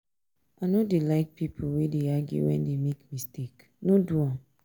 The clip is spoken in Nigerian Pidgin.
i no dey like pipo wey dey argue wen dey make mistake no do am.